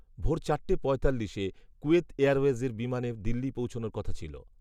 ভোর চারটে পঁয়তাল্লিশে, কুয়েত এয়ারওয়েজের বিমানের দিল্লি পৌঁছানোর কথা ছিল